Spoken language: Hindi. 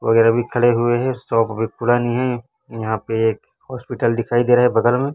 वगैरा भी खड़े हुए हैं शॉप अभी पुरानी है यहां पे एक हॉस्पिटल दिखाई दे रहा है बगल में।